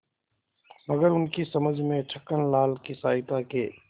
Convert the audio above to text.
मगर उनकी समझ में छक्कनलाल की सहायता के